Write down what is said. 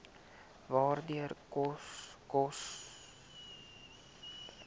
waarde koste koste